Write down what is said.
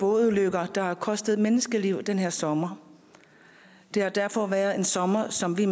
bådulykker der har kostet menneskeliv den her sommer det har derfor været en sommer som vi